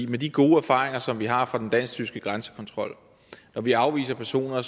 med de gode erfaringer som vi har fra den dansk tyske grænsekontrol hvor vi afviser personer